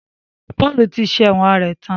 Paul ti sẹ̀wọ̀n rẹ̀ tán